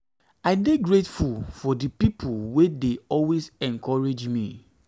i dey grateful for di people wey dey people wey dey always encourage me.